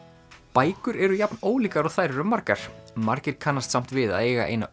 bækur eru jafn ólíkar og þær eru margar margir kannast samt við að eiga eina